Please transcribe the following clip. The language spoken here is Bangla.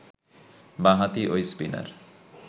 বাঁ-হাতি ঐ স্পিনার